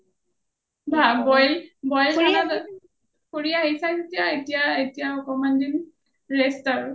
বা boil খানা , ফুৰি আহিলো, ফুৰি আহিছা যেতিয়া এতিয়া একমান দিন rest আৰু